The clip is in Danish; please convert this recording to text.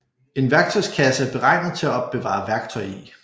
En værktøjskasse er beregnet til at opbevare værktøj i